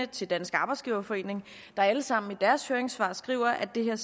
til dansk arbejdsgiverforening der alle sammen i deres høringssvar skriver at det her